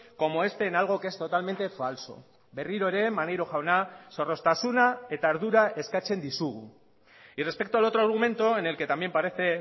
como este en algo que es totalmente falso berriro ere maneiro jauna zorroztasuna eta ardura eskatzen dizugu y respecto al otro argumento en el que también parece